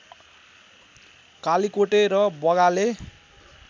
कालिकोटे र बगाले